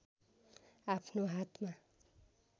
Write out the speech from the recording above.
आफ्नो हातमा